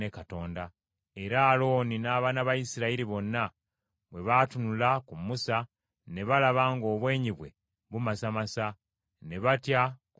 Era Alooni n’abaana ba Isirayiri bonna bwe baatunula ku Musa, ne balaba ng’obwenyi bwe bumasamasa; ne batya okumusemberera.